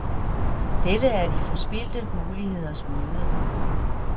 Dette er de forspildte muligheders møde.